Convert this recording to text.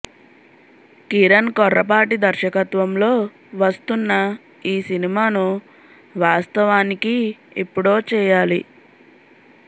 కిరణ్ కొర్రపాటి దర్శకత్వంలో వస్తున్న ఈ సినిమాను వాస్తవానికి ఎప్పుడో చేయాలి